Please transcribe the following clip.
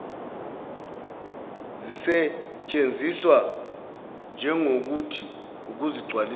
zisetshenziswe njegokuthi ukuzigcwalisela